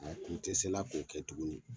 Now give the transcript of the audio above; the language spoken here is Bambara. A tun tɛ se la k'o kɛ tuguni.